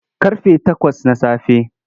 Ƙarfe takwas na safe.